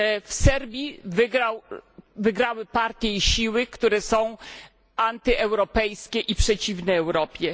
W Serbii wygrały partie i siły, które są antyeuropejskie i przeciwne Europie.